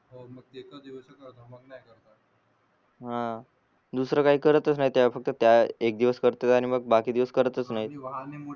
हा दुसर काही करतच नाही त्या फक्त त्या एक दिवस करतेत आणि मग बाकी दिवस करतच नाही